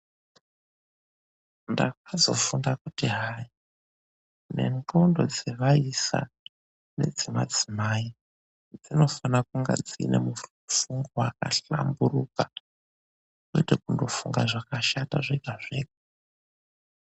Ndakazofunda kuti hai ,nengondo dzevaisa nedzemadzimai dzinofanira kunge dzine mufungo wakahlamburuka kwete kungofunga zvakashata zvega zvega.